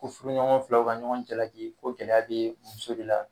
Ko furuɲɔgɔn filaw ka ɲɔgɔn jalaki ko gɛlɛya bɛ muso de la.